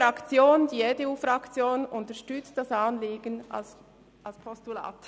Die EDU-Fraktion unterstützt das Anliegen als Postulat.